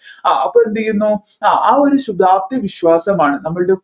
ആ അപ്പോ എന്ത് ചെയ്യുന്നു ആ ഒരു ശുഭാപ്തി വിശ്വാസമാണ് നമ്മളുടെ